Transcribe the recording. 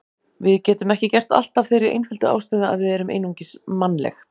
Við getum ekki gert allt af þeirri einföldu ástæðu að við erum einungis mannleg.